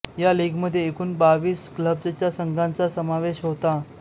या लीगमध्ये एकूण बावीस क्लब्जच्या संघांचा समावेश होता